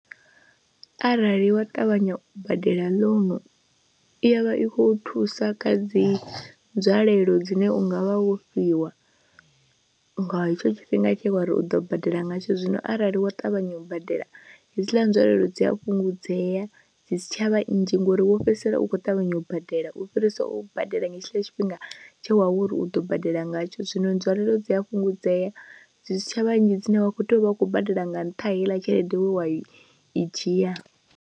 Arali wa ṱavhanya u badela ḽounu i ya vha i khou thusa kha dzi nzwalelo dzine u nga vha wo fhiwa nga hetsho tshifhinga tshe wa ri u ḓo badela nga tsho zwino arali wa ṱavhanya u badela hedzila nzwalelo dzi a fhungudzea, dzi si tshavha nnzhi ngori wo fhedzisela u khou ṱavhanya u badela u fhirisa u badela nga hetshila tshifhinga tshe wawe uri u ḓo badela ngatsho, zwino nzwalelo dzi a fhungudzea zwi si tsha vha nnzhi dzine wa khou tea u vha u khou badela nga ntha heiḽa tshelede wa i dzhia.